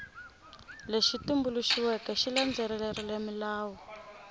lexi tumbuluxiweke xi landzelerile milawu